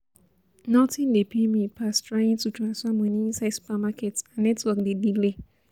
Nothing dey pain me pass trying to transfer money inside supermarket and network dey delay